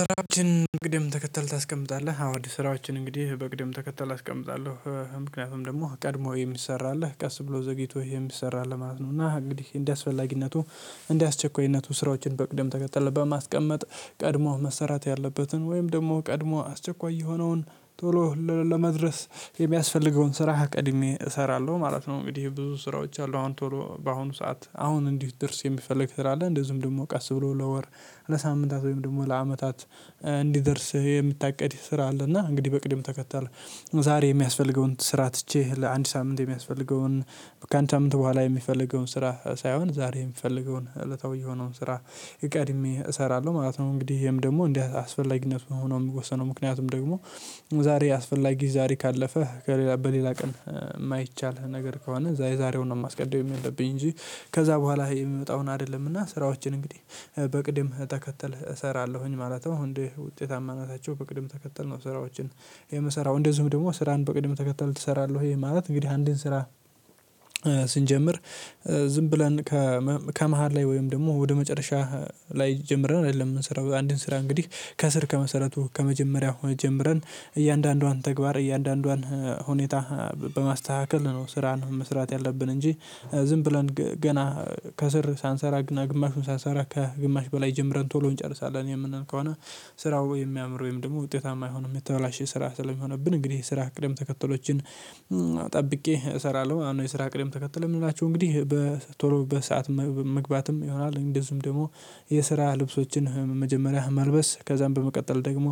ስራዎችህን በቅደም ተከተል ታስቀምጣለህ? አዎ ስራዎችን እንግዲህ በቅደም ተከተል አስቀምጣለሁ ምክንያቱም ደግሞ ቀድሞ የሚሰራ አለ ቀስ ብሎ ዘግይቶ የሚሰራል አለ ማለት ነው እና እንግዲህ እንደ አስፈላግነቱ። አስቸኳይነቱ ስራዎችን በቅደም ተከተል በማስቀመጥ ቀድሞ መሰራት ያለበትን ወይም ደግሞ ቀድሞ አስቸኳይ የሆነውን ቶሎ ለመድረስ የሚያስፈልገውን ስራ ቀድሜ እሰራለሁ ማለት ነው። እንግዲህ ብዙ ስራዎች አሉ አሁን ቶሎ በአሁኑ ሰዓት አሁን እንዲደርስ የሚፈልግ ስራ አለ እንደዚህም ደግሞ ቀስ ብሎ ለወር ለሳምንታት ወይም ደግሞ ለአመታት እንዲደርስህ የምታቀድህ ስራ አለና እንግዲህ በቅድም ተከታለ። ዛሬ የሚያስፈልገውን ስራ ትቼ ለአንድ ሳምንት የሚያስፈልገውን ከአንድ ሳምንት በኋላ የሚፈልገውን ስራ ሳይሆን ዛሬ የምፈልገውን እለታዊ የሆነውን ስራ ቀድሜ እሰራለሁ ማለት ነው። እንግዲህ ይሄም ደግሞ እንደ አስፈላጊነት ነው ሆኖ የምወሰነው ምክንያቱም ደግሞ። ዛሬ አስፈላጊ ዛሬ ካለፈ ከሌላ በሌላ ቀን የማይቻል ነገር ከሆነ የዛሬውን ነው ማስቀደም ያለብኝ እንጂ። ከዛ በኋላ የሚመጣውን አይደለምና ስራዎችን እንግዲህ በቅድም ተከተል እሰራለሁኝ ማለት ነው። እንዴ ውጤታማነታቸው በቅድም ተከተል ነው? ስራዎችን የምሰራው እንደዚሁም ደግሞ ስራን በቅድም ተከተል ትሰራለህ? ወይ ማለት እንግዲህ አንዴን ስራ ስንጀምር ዝም ብለን ከመሃል ላይ ወይም ደግሞ ወደ መጨረሻህ ላይ ጀምረን አይደለም የምንሰራው አንድን ስራ እንግዲህ ከስር ከመሰረቱ ከመጀመሪያው ጀምረን እያንዳንዷን ተግባር እያንዳንዷን ሁኔታ። በማስተካከል ነው ስራን መስራት ያለብን እንጂ። ዝም ብለን ገና ከስር ሳንሰራ ግማሹን ሳንሰራ ከግማሽ በላይ ጀምረን ቶሎ እንጨርሳለን የምናል ከሆነ። ስራው የሚያምር ወይም ደግሞ ውጤታማ አይሆንም የተበላሸ ስራ ስለሚሆንብን እንግዲህ ስራ ቅደም ተከተሎችን። ጠብቄ እሰራለሁ አሁን የስራ ቅድም ተከተል የምላቸው እንግዲህ በ ቶሎ በሰአት መግባትም ይሆናል። እንደዚሁም ደግሞ የስራ ልብሶችን መጀመሪያ መልበስ ከዛም በመቀጠል ደግሞ።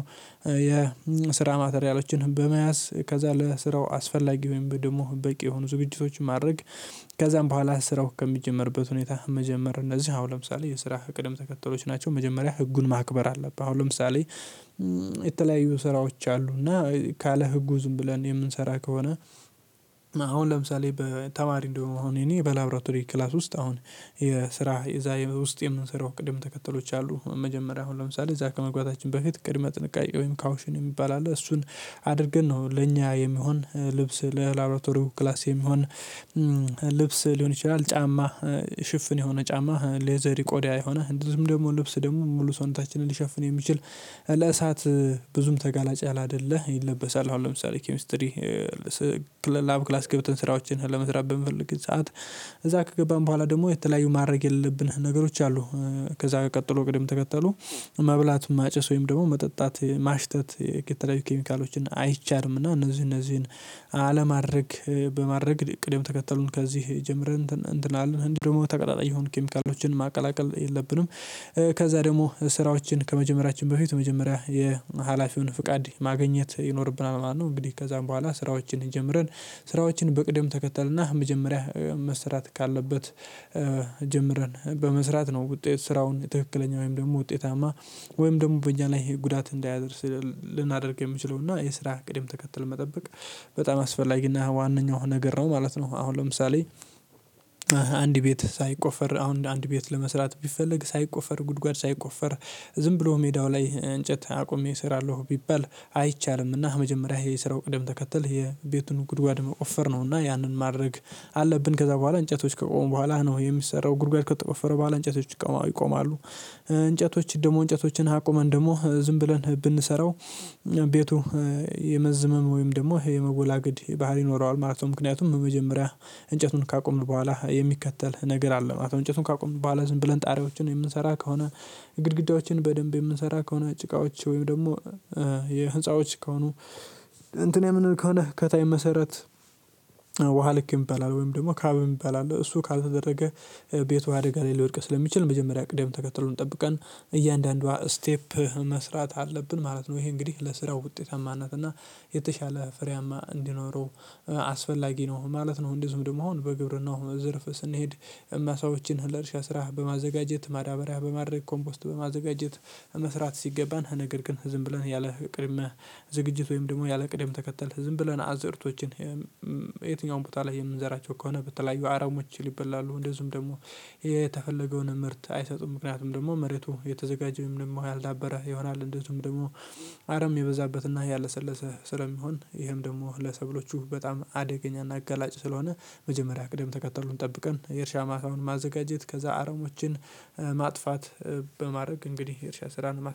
የስራ ማተሪያሎችን በመያዝ ከዛ ለስራው አስፈላጊ ወይም ደግሞ በቂ የሆኑ ዝግጅቶችን ማድረግ። ከዛም በኋላ ስራው ከሚጀመርበት ሁኔታ መጀመር እነዚህ አሁን ለምሳሌ የስራ ቅደም ተከተሎች ናቸው። መጀመሪያ ህጉን ማክበር አለብህ። አሁን ለምሳሌ የተለያዩ ስራዎች አሉ እና ካለ ህጉ ዝም ብለን የምንሰራ ከሆነ። አሁን ለምሳሌ በተማሪ እንደሆነ እኔ በላብራቶሪ ክላስ ውስጥ አሁን የስራ የዛ ውስጥ የምንሰራው ቅደም ተከተሎች አሉ መጀመሪያ አሁን ለምሳሌ እዛ ከመግባታችን በፊት ቅድመ ጥንቃቄ ወይም ካውሽን የሚባል አለ። እሱን አድርገን ነው ለኛ የሚሆን ልብስ ለላብራቶሪው ክላስ የሚሆን ልብስ ሊሆን ይችላል። ጫማ። ሽፍን የሆነ ጫማ ሌዘሪ ቆዳ የሆነ እንደዚሁም ደግሞ ልብስ ደግሞ ሙሉ ሰውነታችንን ሊሸፍን የሚችል ለእሳት ብዙም ተጋላጭ ያለ አይደለ ይለበሳል። አሁን ለምሳሌ ኬሚስትሪ ላብ ክላስ ገብተን ስራዎችን ለመስራት በምፈልግ ሰዓት እዛ ከገባን በኋላ ደግሞ የተለያዩ ማድረግ የለለብን ነገሮች አሉ። ከዛ ቀጥሎ ቅደም ተከተሉ መብላት ማጨስ ወይም ደግሞ መጠጣት ማሽተት የተለያዩ ኬሚካሎችን አይቻልምና። እነዚህ እነዚህን አለማድረግ በማድረግ ቅድም ተከተሉን ከዚህ ጀምረን እንትን እንትላለን እንዲሁም ደግሞ ተቀጣጣይ የሆኑ ኬሚካሎችን ማቀላቀል የለብንም። ከዛ ደግሞ ስራዎችን ከመጀመሪያችን በፊት መጀመሪያ የሀላፊውን ፍቃድ ማግኘት ይኖርብናል ማለት ነው። እንግዲህ ከዛም በኋላ ስራዎችን ጀምረን ስራዎችን በቅደም ተከተልና መጀመሪያ መስራት ካለበት ጀምረን በመስራት ነው። ውጤት ስራውን ትክክለኛ ወይም ደግሞ ውጤታማ ወይም ደግሞ በእኛ ላይ ጉዳት እንዳያደርስ ልናደርግ የምችለው እና የስራ ቅድም ተከተል መጠበቅ። በጣም አስፈላጊና ዋነኛው ነገር ነው ማለት ነው። አሁን ለምሳሌ አንድ ቤት ሳይቆፈር አሁን እንደ አንድ ቤት ለመስራት ቢፈለግ ሳይቆፈር ጉድጓድ ሳይቆፈር ዝም ብሎ ሜዳው ላይ እንጨት አቁሜ እሰራለሁ ቢባል። አይቻልምና መጀመሪያ የስራው ቅደም ተከተል የቤቱን ጉድጓድ መቆፈር ነው እና ያንን ማድረግ። አለብን ከዛ በኋላ እንጨቶች ከቆሙ በኋላ ነው የሚሰራው ጉድጓድ ከተቆፈረ በኋላ እንጨቶች ይቆማሉ። እንጨቶች ደግሞ እንጨቶችን አቁመን ደግሞ ዝም ብለን ብንሰራው ቤቱ የመዝመም ወይም ደግሞ የመወላገድ ባህሪ ይኖረዋል ማለት ነው። ምክንያቱም በመጀመሪያ እንጨቱን ካቆምን በኋላ የሚከተል ነገር አለ ማለት ነው። እንጨቱን ካቆምን በኋላ ዝም ብለን ጣሪያዎችን የምንሰራ ከሆነ። ግድግዳዎችን በደንብ የምንሰራ ከሆነ ጭቃዎች ወይም ደግሞ የህፃዎች ከሆኑ እንትን የምንል ከሆነ ከታይ መሰረት ውሃ ልክ ይበላል ወይም ደግሞ ካብ ይባላል እሱ ካልተደረገ። ቤቱ አደጋ ላይ ሊወድቅ ስለሚችል መጀመሪያ ቅደም ተከተሉን ጠብቀን እያንዳንዷ ስቴፕ መስራት አለብን ማለት ነው። ይሄ እንግዲህ ለስራው ውጤታማ ናት እና የተሻለ ፍሬያማ እንዲኖረው አስፈላጊ ነው ማለት ነው። እንደዚሁም ደግሞ አሁን በግብርናው ዝርፍ ስንሄድ ማሳዎችን ለእርሻ ስራ በማዘጋጀት ማዳበሪያ በማድረግ ኮምፖስት በማዘጋጀት። መስራት ሲገባን ነገር ግን ዝም ብለን ያለ ቅድመ ዝግጅት ወይም ደግሞ ያለ ቅደም ተከተል ዝም ብለን አዝርቶችን። የትኛውም ቦታ ላይ የምንዘራቸው ከሆነ በተለያዩ አረሞች ሊበላሉ እንደዚሁም ደግሞ የተፈለገውን ምርት አይሰጡም። ምክንያቱም ደግሞ መሬቱ የተዘጋጀው የተዘጋጀ ወይም ደግሞ ያልዳበረ ይሆናል። እንደዚሁም ደግሞ አረም የበዛበትና ያለሰለሰ ስለሚሆን ይሄም ደግሞ ለሰብሎቹ በጣም አደገኛና አጋላጭ ስለሆነ። መጀመሪያ ቅደም ተከተሉን ጠብቀን የእርሻ ማሳውን ማዘጋጀት ከዛ አረሞችን ማጥፋት። በማድረግ እንግዲህ የእርሻ ስራን ማስ